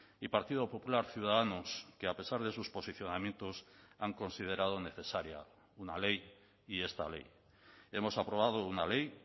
y partido popular ciudadanos que a pesar de sus posicionamientos han considerado necesaria una ley y esta ley hemos aprobado una ley